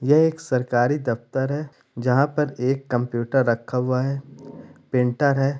यह एक सरकारी दफ्तर है जहाँ पर एक कंप्युटर रखा हुआ है। पेंटर है।